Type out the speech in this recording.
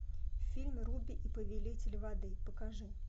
фильм руби и повелитель воды покажи